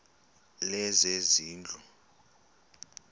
lezezindlu